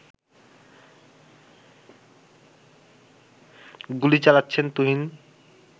গুলি চালাচ্ছেন তুহিন